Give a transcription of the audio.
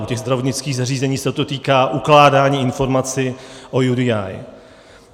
U těch zdravotnických zařízení se to týká ukládání informací o UDI.